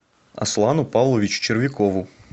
аслану павловичу червякову